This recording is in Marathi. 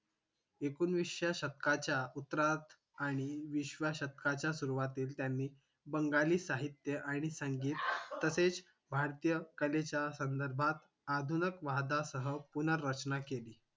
एकोणविसच्या शतकाच्या उत्तरात आणि विसव्या शतकाच्या सुरवातीला त्यांनी बंगाली साहित्य आणि संगीत तसेच भारतीय कलेच्या संदर्भात आदुणक वादासह पुनर्रचना केली